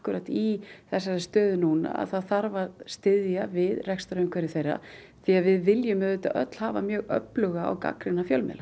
í þessari stöðu að það þarf að styðja við rekstrarumhverfi þeirra því við viljum auðvitað öll hafa öfluga og gagnrýna fjölmiðla